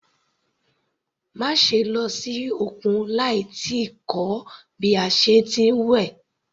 Má ṣe lọ sí òkun láì tíì kọ́ bí a ṣe ń wẹ̀.